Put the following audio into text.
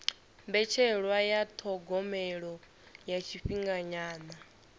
mbetshelwa ya thogomelo ya tshifhinganyana